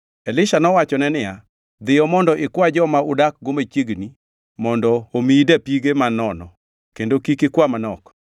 Elisha nowachone niya, “Dhiyo mondo ikwa joma udakgo machiegni mondo omiyi dapige man nono, kendo kik ikwa manok.